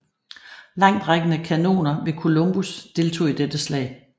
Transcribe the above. Langtrækkende kanoner ved Columbus deltog i dette slag